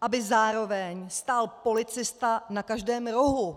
aby zároveň stál policista na každém rohu.